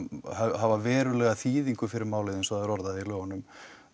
hafa verulega þýðingu fyrir málið eins og það er orðað í lögunum